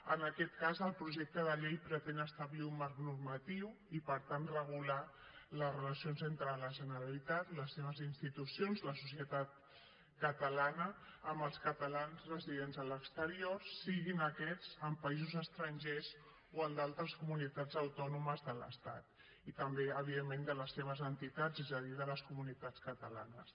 en aquest cas el projecte de llei pretén establir un marc normatiu i per tant regular les relacions entre la generalitat les seves institucions la societat catalana amb els catalans residents a l’exterior siguin aquests en països estrangers o en d’altres comunitats autònomes de l’estat i també evidentment de les seves entitats és a dir de les comunitats catalanes